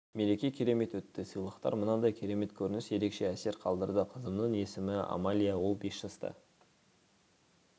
мереке керемет өтті сыйлықтар мынандай керемет көрініс ерекше әсер қалдырды қызымның есімі амалия ол бес жаста